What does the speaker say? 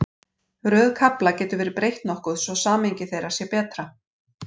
Röð kafla hefur verið breytt nokkuð svo að samhengi þeirra sé betra.